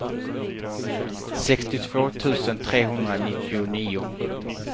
sextiotvå tusen trehundranittionio